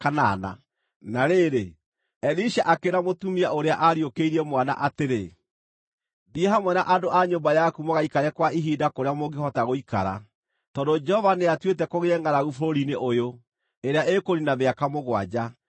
Na rĩrĩ, Elisha akĩĩra mũtumia ũrĩa aariũkĩirie mwana atĩrĩ, “Thiĩ hamwe na andũ a nyũmba yaku mũgaikare kwa ihinda kũrĩa mũngĩhota gũikara, tondũ Jehova nĩatuĩte kũgĩe ngʼaragu bũrũri-inĩ ũyũ, ĩrĩa ĩkũniina mĩaka mũgwanja.”